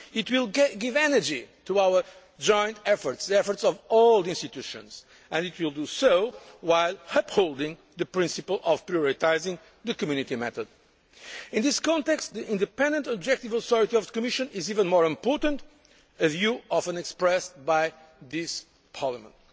It will give energy to our joint efforts the efforts of all the institutions and it will do so while upholding the principle of prioritising the Community method. In this context, the independent and objective authority of the Commission is even more important a view often expressed by this Parliament.